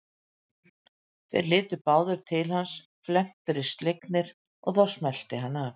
Þeir litu báðir til hans felmtri slegnir og þá smellti hann af.